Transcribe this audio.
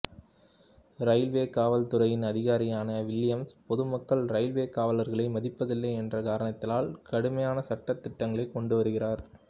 railway காவல் துறையின் அதிகாரியான வில்லியம்ஸ் பொதுமக்கள் இரயில்வே காவலர்களை மதிப்பதில்லை என்கிற காரணத்தினால் கடுமையான சட்ட திட்டங்களை கொண்டுவருகிறார்